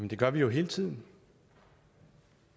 det gør vi jo hele tiden